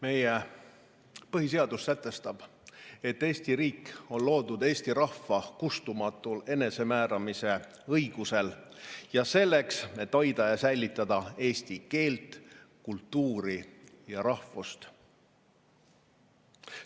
Meie põhiseadus sätestab, et Eesti riik on loodud eesti rahva kustumatul enesemääramise õigusel ja selleks, et hoida ja säilitada eesti keelt, kultuuri ja rahvust.